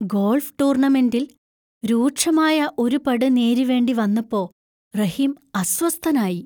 Golf ടൂർണമെന്‍റിൽ രൂക്ഷമായ ഒരു പട് നേരിവേണ്ടി വന്നപ്പോ റഹീം അസ്വസ്ഥനായി.